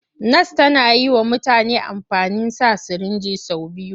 Nas tana yi wa mutane amfani sa sirinji sau biyu.